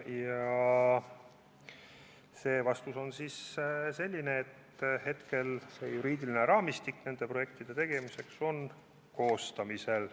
Ja vastus on selline, et hetkel on nende projektide tegemise juriidiline raamistik koostamisel.